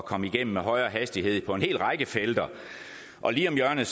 komme igennem med højere hastighed på en hel række felter og lige om hjørnet